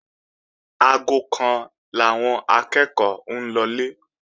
Aago kan làwọn akẹ́ẹ̀kọ́ ń lọlé